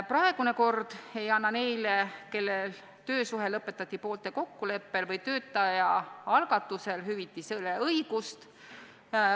Praegune kord ei anna neile, kelle töösuhe lõpetati poolte kokkuleppel või töötaja algatusel, hüvitisele õigust.